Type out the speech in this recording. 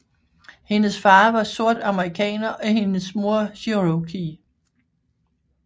Hendes far var sort amerikaner og hendes mor Cherokee